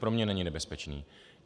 Pro mě není nebezpečný.